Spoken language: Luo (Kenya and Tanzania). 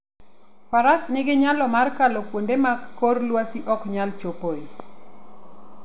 Faras nigi nyalo mar kalo kuonde ma kor lwasi ok nyal chopoe.